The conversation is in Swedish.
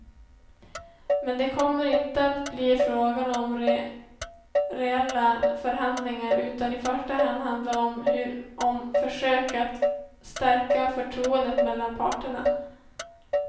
Men det kommer inte att bli fråga om reella förhandlingar, utan i första hand handla om försök att stärka förtroendet mellan parterna.